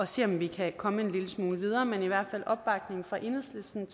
se om vi kan komme en lille smule videre men i hvert fald opbakning fra enhedslistens